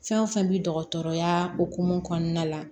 Fɛn o fɛn bi dɔgɔtɔrɔya hukumu kɔnɔna la